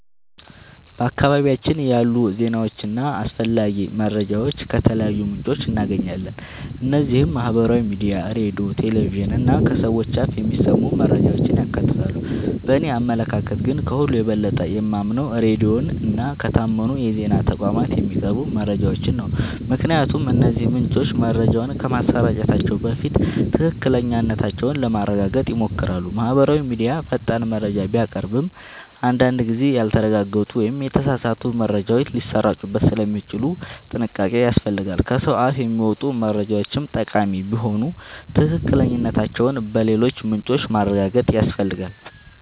በአካባቢያችን ያሉ ዜናዎችንና አስፈላጊ መረጃዎችን ከተለያዩ ምንጮች እናገኛለን። እነዚህም ማህበራዊ ሚዲያ፣ ሬዲዮ፣ ቴሌቪዥን እና ከሰዎች አፍ የሚሰሙ መረጃዎችን ያካትታሉ። በእኔ አመለካከት ግን፣ ከሁሉ የበለጠ የማምነው ሬዲዮን እና ከታመኑ የዜና ተቋማት የሚቀርቡ መረጃዎችን ነው። ምክንያቱም እነዚህ ምንጮች መረጃዎችን ከማሰራጨታቸው በፊት ትክክለኛነታቸውን ለማረጋገጥ ይሞክራሉ። ማህበራዊ ሚዲያ ፈጣን መረጃ ቢያቀርብም፣ አንዳንድ ጊዜ ያልተረጋገጡ ወይም የተሳሳቱ መረጃዎች ሊሰራጩበት ስለሚችሉ ጥንቃቄ ያስፈልጋል። ከሰው አፍ የሚመጡ መረጃዎችም ጠቃሚ ቢሆኑ ትክክለኛነታቸውን በሌሎች ምንጮች ማረጋገጥ ያስፈልጋል።